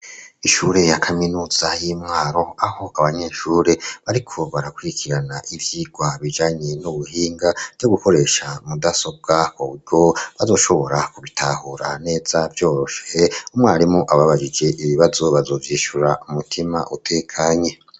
Ishure ya kaminuza y'imwaro aho abanyeshure bariko barakurikirana ivyigwa bijanye n'ubuhinga vyo gukoresha mudasobwa hobwo bazoshobora kubitahura neza byoroshe umwarimu ababajije ibibazo bazoVyishura umutima utekanye.